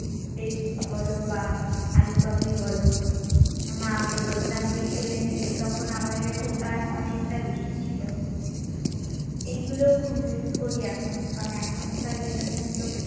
Pepsi বল বা আলু কাবলি বল মাকে বলতাম যে কিনে দিতে তখন আমাদের কাছে ওটা অনেকটা বেশি ছিল তো এগুলো খুব মিস করি এখন কারণ এখনকার generation তো